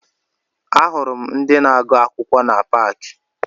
Ahụrụ m ndị na-agụ akwụkwọ na paakị